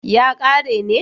ya kare ne